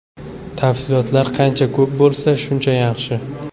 Tafsilotlar qancha ko‘p bo‘lsa, shuncha yaxshi.